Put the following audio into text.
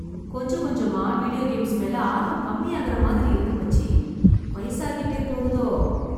கொஞ்ச கொஞ்சமா video games மேல ஆர்வம் கம்மியாகுற மாதிரி இருக்கு, மச்சி. வயசாகிட்டே போகுதோ!